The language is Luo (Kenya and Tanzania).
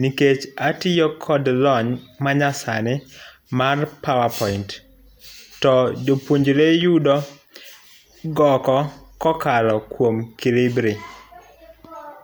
nikech atiyo kod lony manyasani mar power point.to jopuonjre yudo goko kokalo kuom Kolibri.